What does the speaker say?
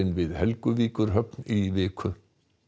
við Helguvíkurhöfn í viku